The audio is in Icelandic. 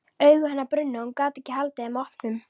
Augu hennar brunnu og hún gat ekki haldið þeim opnum.